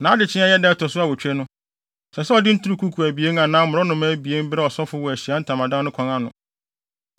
Nʼadekyee a ɛyɛ da a ɛto so awotwe no, ɛsɛ sɛ ɔde nturukuku abien anaa mmorɔnoma mma abien brɛ ɔsɔfo wɔ Ahyiae Ntamadan no kwan ano.